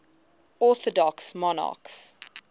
orthodox monarchs